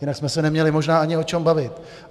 Jinak jsme se neměli možná ani o čem bavit.